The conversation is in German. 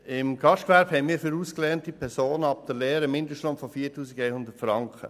Im Gastgewerbe haben wir für ausgelernte Personen nach der Lehre einen Mindestlohn von 4100 Franken.